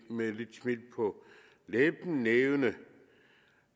med et lille smil på læben nævne